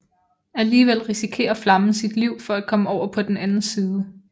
Alligevel risikerer flammen sit liv for at komme over på den anden side